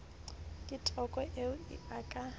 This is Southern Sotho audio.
ke toko eo a ka